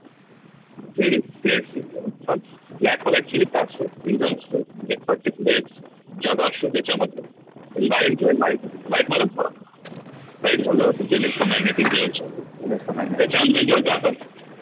blackholeactually काय असतो एक region असतो म्हणजे particular एक जागा असतो ज्याच्यामध्ये light जे आहे light मध्ये light मध्येच फरक light झाल तुमचे electromagneticwaves झाले त्याच्या आतमध्ये जेव्हा जातात